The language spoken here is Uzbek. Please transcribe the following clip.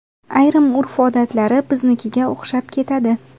Ayrim urf-odatlari biznikiga o‘xshab ketadi.